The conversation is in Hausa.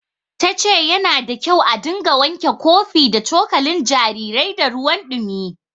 Ta ce yana da kyau a dinga wanke kofi da cokalin jarirai da ruwan ɗumi.